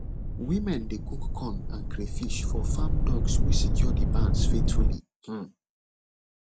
women dey cook corn and crayfish for farm dogs wey secure the barns faithfully um